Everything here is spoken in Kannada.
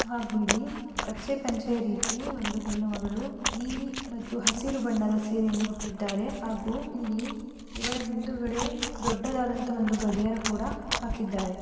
ಹಾಗೂ ಇಲ್ಲಿ ಕಚ್ಚೆ ಪಂಚೆ ರೀತಿ ಒಂದು ಹೆಣ್ಣು ಮಗಳು ನೀಲಿ ಮತ್ತು ಹಸಿರು ಬಣ್ಣದ ಸೀರೆಯನ್ನು ಉಟ್ಟಿದ್ದಾರೆ ಹಾಗೂ ಇಲ್ಲಿ ಇವರ ಹಿಂದುಗಡೆ ದೊಡ್ಡದಾದಂತ ಒಂದು ಗಡಿಯಾರ ಕೂಡ ಹಾಕಿದ್ದಾರೆ.